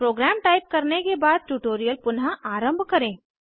programme type करने के बाद ट्यूटोरियल पुनः आरंभ करें